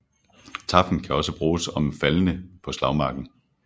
Tafn kan også bruges om de faldne på slagmarken